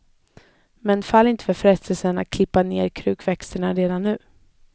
Men fall inte för frestelsen att klippa ner krukväxterna redan nu.